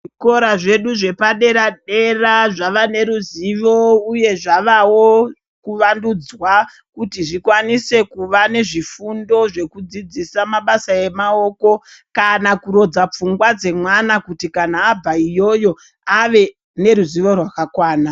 Zvikora zvedu zvepadera dera zvavaneruzivo, uye zvavawo kuvandudzwa kuti zvikwanise kuva nezvifundo zvekudzidzisa mabasa emawoko kana kurodza pfungwa dzemwana kuti kana abva iyoyo, ave neruzivo rwakakwana.